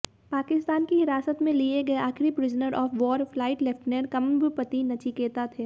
पाकिस्तान की हिरासत में लिए गए आखिरी prisoner of war flight lieutenant Kambampati Nachiketa थे